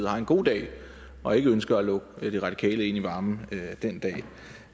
har en god dag og ikke ønsker at lukke de radikale ind i varmen